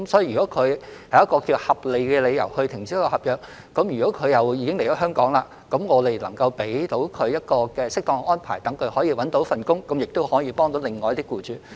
如果外傭是有合理理由停止合約，而他們已經來港，只要能夠為他們作出適當的安排，讓他們找到工作，這樣亦可以幫到另一些僱主。